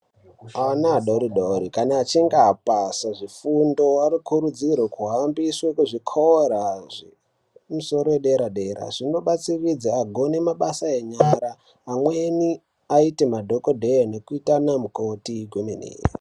Ana adodori kana achinge apase zvifundo anosise kuhambiswe kuzvikora zvefundo yepadera dera zvinobatsiridza agone mabasa enyara amweni aite madhokodheya nekuita ana mukoti kwemene .